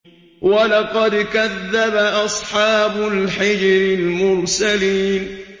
وَلَقَدْ كَذَّبَ أَصْحَابُ الْحِجْرِ الْمُرْسَلِينَ